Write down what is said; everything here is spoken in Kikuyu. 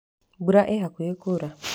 Mbura ĩ hakuhĩ kuura.